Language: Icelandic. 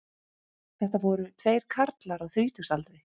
Þetta voru tveir karlar á þrítugsaldri